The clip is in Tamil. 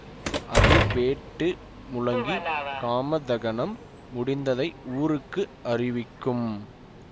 அதிர் வேட்டு முழங்கி காமதகனம் முடிந்ததை ஊருக்கு அறிவிக்கும்